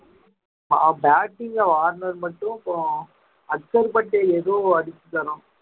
ஆஹ் batting ல ஆடுனது மட்டும் அப்பறம் அச்சர்ப்பட்டு ஏதோ அடிச்சு தர்றோம்